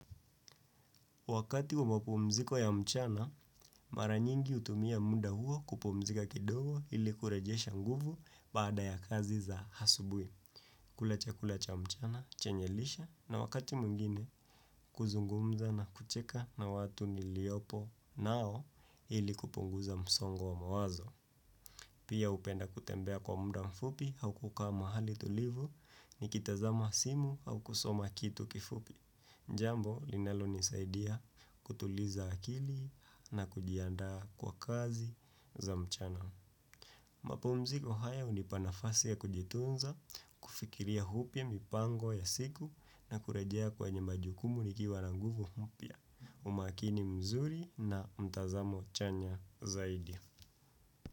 Wakati wa mapumziko ya mchana, mara nyingi hutumia mda huo kupumzika kidogo ili kurejesha nguvu baada ya kazi za hasubwi. Kula chakula cha mchana, chenye lishe na wakati mwingine, kuzungumza na kucheka na watu niliopo nao ili kupunguza msongo wa mawazo. Pia upenda kutembea kwa mda mfupi hau kukaa mahali tulivu, nikitazama simu au kusoma kitu kifupi. Njambo, linalonisaidia kutuliza akili na kujianda kwa kazi za mchana. Mapumziko haya hunipa nafasi ya kujitunza, kufikiria hupya mipango ya siku na kurejea kwenye majukumu nikiwa na nguvu humpya. Umakini mzuri na mtazamo chanya zaidi.